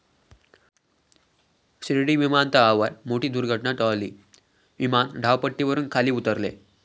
शिर्डी विमानतळावर मोठी दुर्घटना टळली, विमान धावपट्टीवरून खाली उतरले